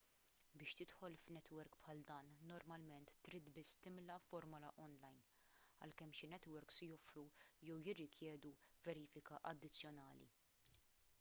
biex tidħol f'netwerk bħal dan normalment trid biss timla formola onlajn għalkemm xi netwerks joffru jew jirrikjedu verifika addizzjonali